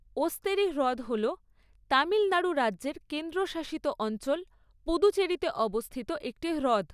ওস্তেরি হ্রদ হল তামিলনাড়ু রাজ্যের কেন্দ্রশাসিত অঞ্চল পুদুচেরিতে অবস্থিত একটি হ্রদ।